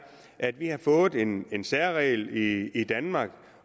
at vi har fået en en særregel i i danmark